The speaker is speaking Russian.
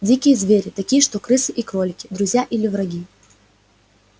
дикие звери такие что крысы и кролики друзья или враги